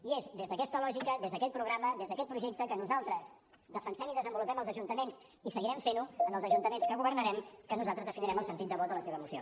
i és des d’aquesta lògica des d’aquest programa des d’aquest projecte que nosaltres defensem i desenvolupem als ajuntaments i que seguirem fent ho en els ajuntaments que governarem que nosaltres definirem el sentit de vot de la seva moció